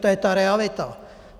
To je ta realita.